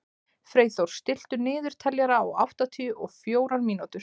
Freyþór, stilltu niðurteljara á áttatíu og fjórar mínútur.